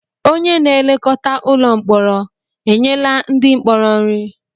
Onye na-elekọta ụlọ mkpọrọ enyela ndị mkpọrọ nri?